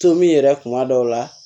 Tomi yɛrɛ kuma dɔw la